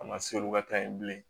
A ma se olu ka taa yen bilen